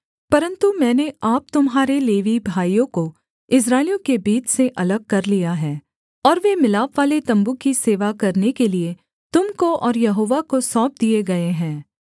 परन्तु मैंने आप तुम्हारे लेवी भाइयों को इस्राएलियों के बीच से अलग कर लिया है और वे मिलापवाले तम्बू की सेवा करने के लिये तुम को और यहोवा को सौंप दिये गए हैं